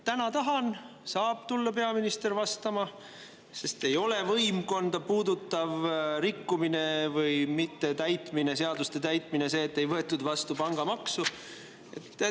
Täna ma tahan nii ja peaminister saab tulla vastama, sest see ei ole võimkonda puudutav rikkumine või seaduste mittetäitmine, et ei võetud vastu pangamaksu.